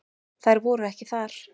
Þær voru ekki þar.